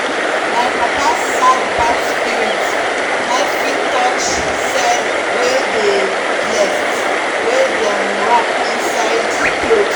my papa sad bad spirit ni fit touch sed wey dey blessed wey dem wrap inside clothe